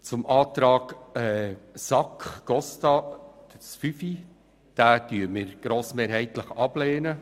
Die Planungserklärung 5 SAK/Costa lehnen wir grossmehrheitlich ab.